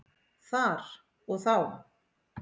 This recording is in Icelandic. Þar og þá.